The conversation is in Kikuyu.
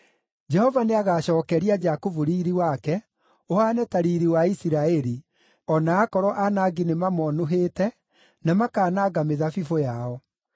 Jehova nĩagacookeria Jakubu riiri wake, ũhaane ta riiri wa Isiraeli, o na aakorwo aanangi nĩmamonũhĩte, na makaananga mĩthabibũ yao.